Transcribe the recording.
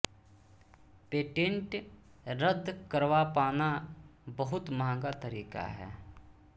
patent रद्द करवा पाना बहुत महंगा तरीका है